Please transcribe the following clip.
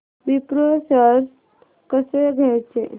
Wipro shares कसे घ्यायचे